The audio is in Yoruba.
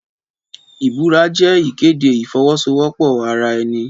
Ìbúra jẹ́ ìkéde ìfọwọ́sowọ́pọ̀ ara ẹni.